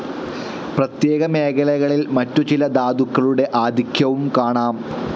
പ്രത്യേക മേഖലകളിൽ മറ്റു ചില ധാതുക്കളുടെ ആധിക്യവും കാണാം.